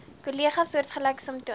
kollegas soortgelyke simptome